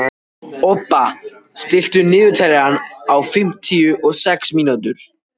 Obba, stilltu niðurteljara á fimmtíu og sex mínútur.